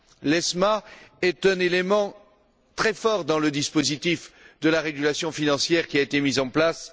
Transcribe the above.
L'ESMA est un élément très fort du dispositif de régulation financière qui a été mis en place.